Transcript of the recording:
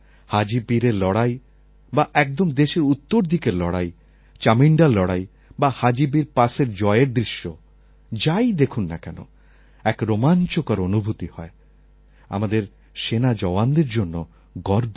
হাজি পীরএর লড়াই বা একদম দেশের উত্তরদিকের লড়াই চামিণ্ডার লড়াই বা হাজি পীর পাস জয়ের দৃশ্য যাই দেখুন না কেন এক রোমাঞ্চকর অনুভূতি হয় এবং আমাদের সেনা জওয়ানদের জন্য গর্ব হয়